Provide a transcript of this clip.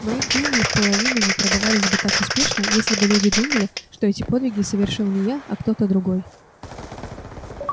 мои книги и вполовину не продавались бы так успешно если бы люди думали что эти подвиги совершил не я а кто-то другой